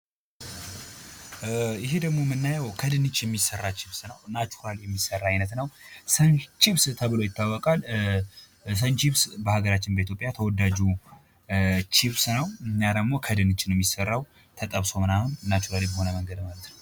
ይህ ደግሞ የምናየው ከድንች የሚሰራ ችብስ ነው ፤ ናቹራል በሆነ መንገድ የሚሠራ ሰን ችብስ ተብሎ ይታወቃል። በሀገራችን በኢትዮጵያ በጣም ተወዳጁ ቼብስ ነው እና ከድንች ነው ሚሰራው ተጠብሶ ምናምን ናቹራል በሆነ መንገድ ነው ማለት ነው።